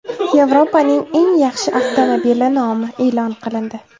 Yevropaning eng yaxshi avtomobili nomi e’lon qilindi.